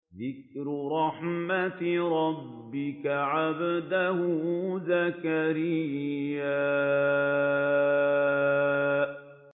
ذِكْرُ رَحْمَتِ رَبِّكَ عَبْدَهُ زَكَرِيَّا